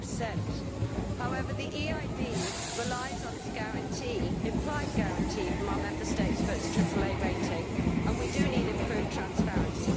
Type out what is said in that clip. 50. However, the EIB relies on its guarantee implied guarantee from our Member States for its triple A rating, and we do need improved transparency.